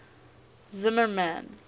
zimmermann